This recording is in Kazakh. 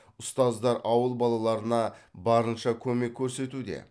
ұстаздар ауыл балаларына барынша көмек көрсетуде